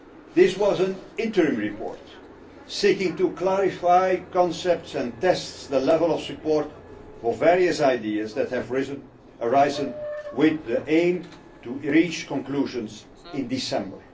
This was an interim report seeking to clarify concepts and test the level of support for various ideas that have arisen, with the aim of reaching conclusions in December.